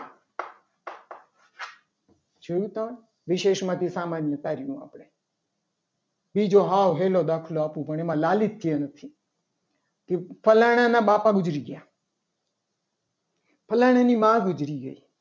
જોયું તમે વિશેષ માંથી સામાન્ય તારવી આપણી બીજો હાવ હેલો દાખલો આપું પણ એમને લાલિત્ય નથી કે ફલાણા ના બાપા ગુજરી ગયા ફલાણા ની મા ગુજરી ગઈ.